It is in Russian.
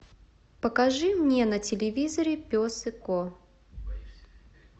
покажи мне на телевизоре пес и ко